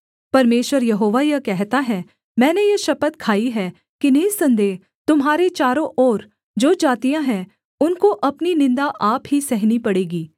परमेश्वर यहोवा यह कहता है मैंने यह शपथ खाई है कि निःसन्देह तुम्हारे चारों ओर जो जातियाँ हैं उनको अपनी निन्दा आप ही सहनी पड़ेगी